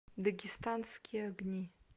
дагестанские огни